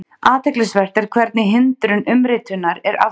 Athyglisvert er hvernig hindrun umritunar er aflétt.